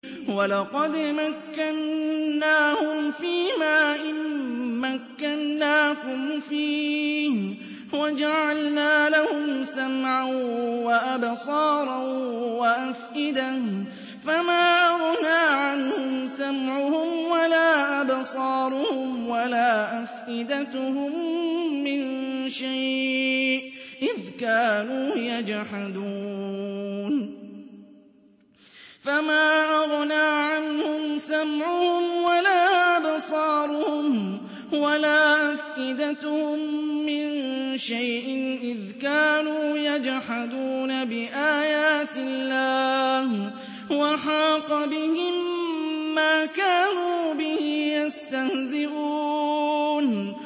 وَلَقَدْ مَكَّنَّاهُمْ فِيمَا إِن مَّكَّنَّاكُمْ فِيهِ وَجَعَلْنَا لَهُمْ سَمْعًا وَأَبْصَارًا وَأَفْئِدَةً فَمَا أَغْنَىٰ عَنْهُمْ سَمْعُهُمْ وَلَا أَبْصَارُهُمْ وَلَا أَفْئِدَتُهُم مِّن شَيْءٍ إِذْ كَانُوا يَجْحَدُونَ بِآيَاتِ اللَّهِ وَحَاقَ بِهِم مَّا كَانُوا بِهِ يَسْتَهْزِئُونَ